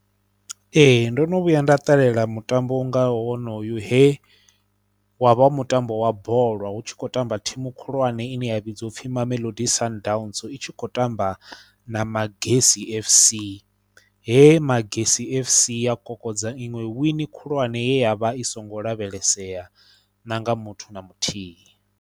Ee ndo no vhuya nda ṱalela mutambo u ngaho honoyo he wa vha wo mutambo wa bola, hu tshi khou tamba thimu khulwane ine ya vhidziwa u pfhi Mamelodi Sundowns i tshi khou tamba na Magesi F_C. He Magesi F_C ya kokodza iṅwe wini khulwane ya vha i songo lavhelesea na nga muthu na muthihi.